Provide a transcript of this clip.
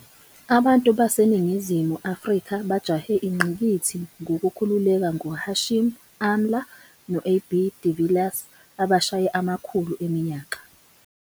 Abantu baseNingizimu Afrika bajahe ingqikithi ngokukhululeka ngoHashim Amla no- AB de Villiers abashaye amakhulu eminyaka.